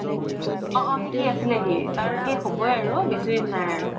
অ অ সিকি আছিলে সি তাৰ শেস হ'বয়ে আৰু বেচি দিন নাই